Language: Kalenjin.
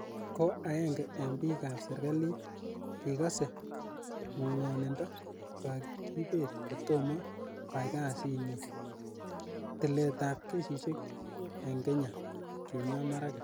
Ko aenge eng pik ap serikalit kikase ngonindo kokakipet ko tomo ko ai kasit nyin ing tilet ap kesishek ing Kenya" Kimwaa Maraga.